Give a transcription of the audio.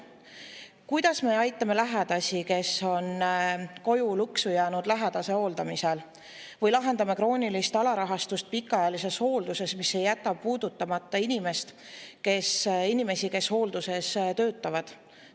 Kuidas me aitame neid, kes on jäänud koju lõksu lähedase hooldamise tõttu, või lahendame kroonilist alarahastust pikaajalises hoolduses, mis ei jäta puudutamata inimesi, kes hoolduses töötavad?